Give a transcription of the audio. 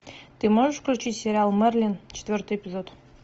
ты можешь включить сериал мерлин четвертый эпизод